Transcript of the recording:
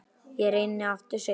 Ég reyni aftur seinna